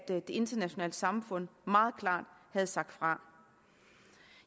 det internationale samfund meget klart havde sagt fra